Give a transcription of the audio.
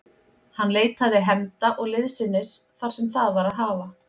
Hann leitaði hefnda og liðsinnis þar sem það var að hafa.